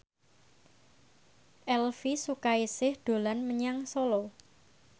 Elvy Sukaesih dolan menyang Solo